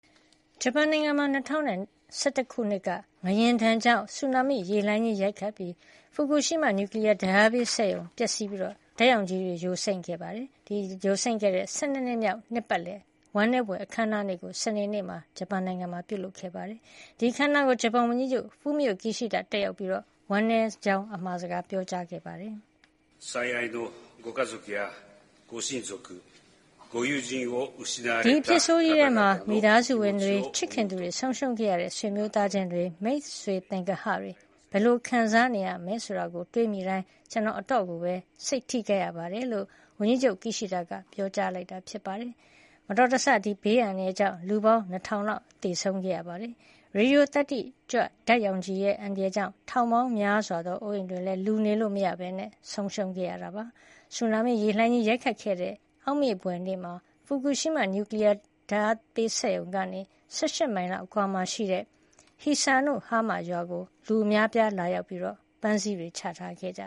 ဂျပန်နိုင်ငံမှာ ၂၀၁၁ ခုနှစ်က ငလျင်ဒဏ်ကြောင့် ဆူနာမိလှိုင်းကြီးရိုက်ခတ်ခဲ့လို့ ဖူကူရှီးမား နျူကလီယားဓာတ်အားပေး စက်ရုံပျက်စီးပြီး ဓာတ်ရောင်ခြည်တွေယိုစိမ့်ခဲ့တဲ့ ၁၂ နှစ်မြောက် နှစ်ပတ်လည် ဝမ်းနည်းဘွယ်အခမ်းအနားကို စနေနေ့ကပြုလုပ်ခဲ့ပါတယ်။ ဒီအခမ်းအနားကို ဂျပန်ဝန်ကြီးချုပ် ဖူမိအိုကီရှိဒါတက်ရောက်ပြီး ဝမ်းနည်းကြောင်းစကား ပြောကြားခဲ့ပါတယ်။ “ဒီအဖြစ်ဆိုးကြီးထဲမှာ မိသားစုဝင်တွေ၊ ချစ်ခင်သူတွေဆုံးရှုံးခဲ့ရတဲ့ ဆွေမျိုးသားခြင်းတွေ၊ မိတ်ဆွေသင်္ဂဟတွေ ဘယ်လို ခံစားနေရမလဲဆိုတာတွေးမိတိုင်း ကျနော် အတော်ကိုပဲ စိတ်ထိခိုက်ရပါတယ်” လို့ ဝန်ကြီးချုပ် ကီရှီဒါကပြောဆိုခဲ့ပါတယ်။ ဒီဘေးအန္တရာယ်ဆိုးကြီးအတွင်း လူ ၂,၀၀၀ လောက်သေဆုံးခဲ့ပြီး ရေဒီယိုသတ္တိကြွ အန္တရာယ်ကြောင့် ထောင်ပေါင်းများစွာသောအိုးအိမ်တွေလည်း လူနေလို့မရတော့ဘဲ ဆုံးရှုံးခဲ့ပါတယ်။ ဆူနာမိရေလှိုင်းကြီးရိုက်ခတ်ခဲ့တဲ့ အောက်မေ့ဘွယ်နေ့မှာ ဖူကူရှီးမား နျူကလီယားသုံး ဓာတ်အားပေးစက်ရုံကနေ ၁၈ မိုင်လောက်အကွာမှာရှိတဲ့ Hisanohama ရွာကို လူအများလာရောက်ပြီး ပန်းစည်းတွေချထားခဲ့ကြ